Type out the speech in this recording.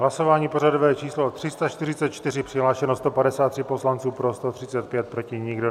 Hlasování pořadové číslo 344, přihlášeno 153 poslanců, pro 135, proti nikdo.